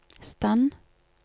stand